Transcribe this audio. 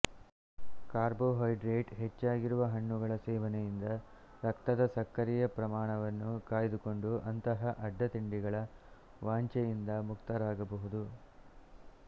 carbohydrate ಹೆಚ್ಚಾಗಿರುವ ಹಣ್ಣುಗಳ ಸೇವನೆಯಿಂದ ರಕ್ತದ ಸಕ್ಕರೆಯ ಪ್ರಮಾಣವನ್ನು ಕಾಯ್ದುಕೊಂಡು ಅಂತಹ ಅಡ್ಡತಿಂಡಿಗಳ ವಾಂಛೆಯಿಂದ ಮುಕ್ತರಾಗಬಹುದು